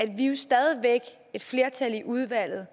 et flertal i udvalget